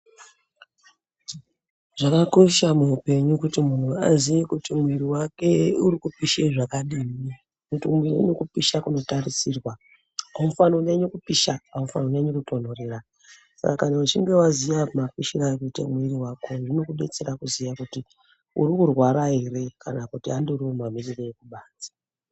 Zvakakosha muupenyu kuti munhu aziye kuti mwiiri wake urikupishe zvakadini. Nokuti kune kupisha kunotarisirwa, haufanhi kunyanya kupisha, haufanhi kunyanya kutonhorera saka kana uchinge waziya mapishiro arikuita mwiiri wako zvinokudetsera kuziya kuti urikurwara ere kana kuti andoriwo mamirire ekubanze.